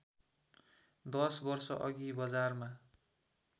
दश वर्षअघि बजारमा